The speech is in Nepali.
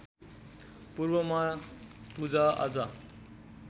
पूर्वमा पूजा आजा